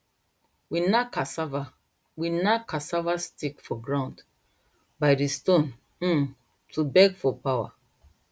we knack cassava we knack cassava stick for ground by di stone um to beg for power